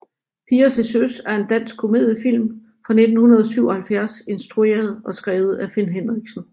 Piger til søs er en dansk komediefilm fra 1977 instrueret og skrevet af Finn Henriksen